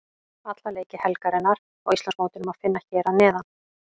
Alla leiki helgarinnar á Íslandsmótinu má finna hér að neðan.